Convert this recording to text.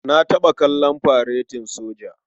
Na taɓa kallon faretin soja.